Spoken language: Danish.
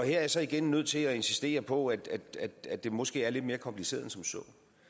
jeg så igen nødt til at insistere på at det måske er lidt mere kompliceret end som så